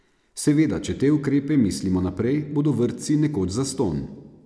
Seveda, če te ukrepe mislimo naprej, bodo vrtci nekoč zastonj.